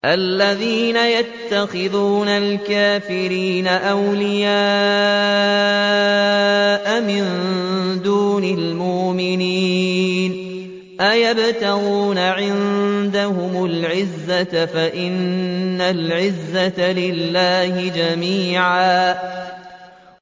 الَّذِينَ يَتَّخِذُونَ الْكَافِرِينَ أَوْلِيَاءَ مِن دُونِ الْمُؤْمِنِينَ ۚ أَيَبْتَغُونَ عِندَهُمُ الْعِزَّةَ فَإِنَّ الْعِزَّةَ لِلَّهِ جَمِيعًا